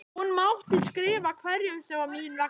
Hún mátti skrifa hverjum sem var mín vegna.